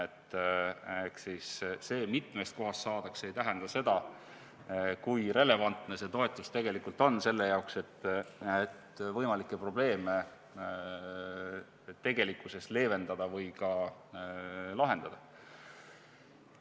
Ehk see, et mitmest kohast saadakse, ei näita seda, kui relevantne see toetus tegelikult on selle jaoks, et võimalikke probleeme leevendada või ka lahendada.